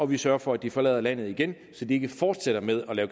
vi sørger for at de forlader landet igen så de ikke fortsætter med at